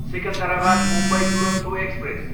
Secunderabad, Mumbai Duronto express